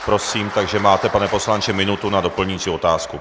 Prosím, takže máte, pane poslanče, minutu na doplňující otázku.